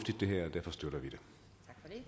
vi